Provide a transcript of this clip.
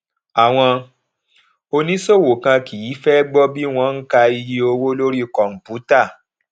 àwọn oníṣòwò kan kì í fé gbó bí wón ka iye owó lórí kòǹpútà